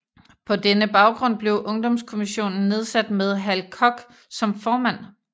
På denne baggrund blev Ungdomskommissionen nedsat med Hal Koch som formand